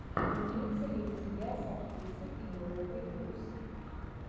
имеется ли у тебя с актрисой пенелопой круз